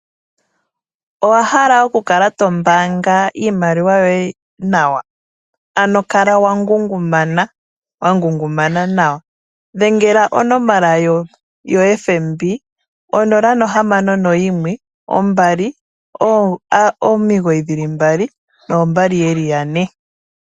Owa hala okukala tombaanga iimaliwa yoye nawa? Ano kala wa ngungumana, wa ngungumana nawa dhengela onomola yoFNB 0612992222.